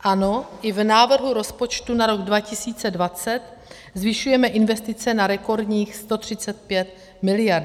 Ano, i v návrhu rozpočtu na rok 2020 zvyšujeme investice na rekordních 135 miliard.